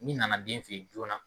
min nana den fɛ yen joona